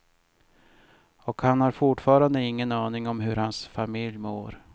Och han har fortfarande ingen aning om hur hans familj mår.